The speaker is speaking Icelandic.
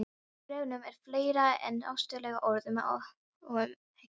Í bréfunum er fleira en ástúðleg orð og umhyggja.